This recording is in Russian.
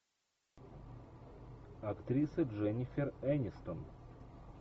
актриса дженифер энистон